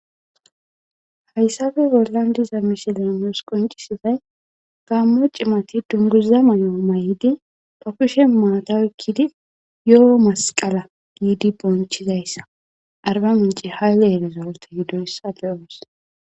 Hayssape bollan diza misiley nuus qonccisizay Gaammo cimati dunguza mayo mayidi ba kushen maata oykidi yoo masqala giidi bonchchizayssa arba mincce hayle rizorte gidoyssa be'oos.